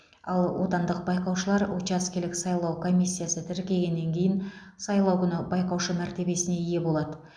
ал отандық байқаушылар учаскелік сайлау комиссиясы тіркегеннен кейін сайлау күні байқаушы мәртебесіне ие болады